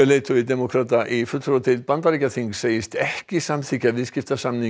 leiðtogi demókrata í fulltrúadeild Bandaríkjaþings segist ekki samþykkja viðskiptasamning